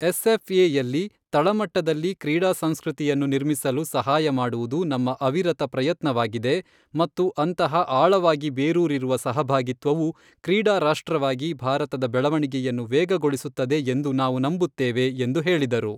ಎಸ್ಎಫ್ಎಯಲ್ಲಿ ತಳಮಟ್ಟದಲ್ಲಿ ಕ್ರೀಡಾ ಸಂಸ್ಕೃತಿಯನ್ನು ನಿರ್ಮಿಸಲು ಸಹಾಯ ಮಾಡುವುದು ನಮ್ಮ ಅವಿರತ ಪ್ರಯತ್ನವಾಗಿದೆ ಮತ್ತು ಅಂತಹ ಆಳವಾಗಿ ಬೇರೂರಿರುವ ಸಹಭಾಗಿತ್ವವು ಕ್ರೀಡಾ ರಾಷ್ಟ್ರವಾಗಿ ಭಾರತದ ಬೆಳವಣಿಗೆಯನ್ನು ವೇಗಗೊಳಿಸುತ್ತದೆ ಎಂದು ನಾವು ನಂಬುತ್ತೇವೆ, ಎಂದು ಹೇಳಿದರು.